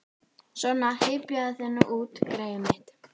Svona, hypjaðu þig nú út, greyið mitt.